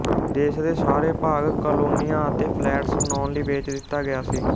ਦੇਸ਼ ਦੇ ਸਾਰੇ ਭਾਗ ਕਾਲੋਨੀਆਂ ਅਤੇ ਫਲੈਟਸ ਬਣਾਉਣ ਲਈ ਵੇਚ ਦਿੱਤਾ ਗਿਆ ਸੀ